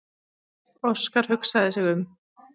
Óskar hugsaði sig um.